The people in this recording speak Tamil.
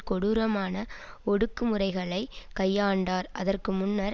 கொடூரமான ஒடுக்குமுறைகளை கையாண்டார் அதற்குமுன்னர்